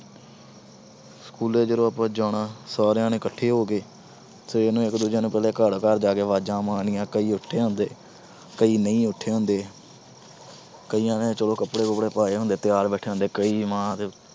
school ਜਦੋਂ ਆਪਾ ਜਾਣਾ ਸਾਰਿਆਂ ਨੇ ਇੱਕਠੇ ਹੋ ਕੇ ਫਿਰ ਇੱਕ ਦੂਜੇ ਨੂੰ ਘਰ-ਘਰ ਜਾ ਕੇ ਵਾਜਾਂ ਮਾਰਨੀਆਂ, ਕਈ ਉੱਠੇ ਹੁੰਦੇ, ਕਈ ਨਹੀਂ ਉੱਠੇ ਹੁੰਦੇ। ਕਈਆਂ ਨੇ ਕੱਪੜੇ-ਕੁੱਪੜੇ ਚਲੋ ਪਾਏ ਹੁੰਦੇ, ਤਿਆਰ ਬੈਠੇ ਹੁੰਦੇ, ਕਈ ਮਾਂ ਦੇ